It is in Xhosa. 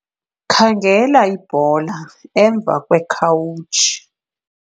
khangela ibhola emva kwekhawutshi